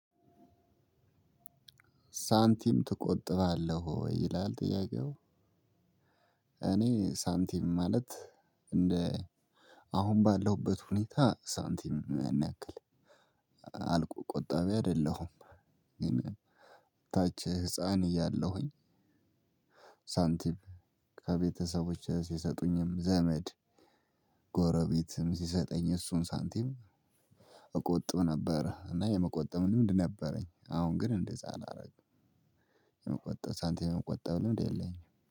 ሳንቲም ትቆጥባለህ ወይ ይላል ጥያቄው? እኔ ሳንቲም ማለት እንደ አሁን ባለሁበት ሁኔታ ሳንቲም ያን ያክል አልቆ ቆጣቢ አይደለሁም። ግን ታች ህፃን እያለሁኝ። ሳንቲም ከቤተሰቦቼ ሲሰጡኝም ዘመድ ጎረቤትም ሲሰጠኝ እሱን ሳንቲም እቆጥብ ነበረ እና የመቆጠብ ልምድ ነበረኝ። አሁን ግን እንደዛ አላረግም። የመቆጠብ ሳንቲም የመቆጠብ ልምድ የለኝም